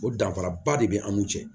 O danfaraba de bɛ an n'u cɛ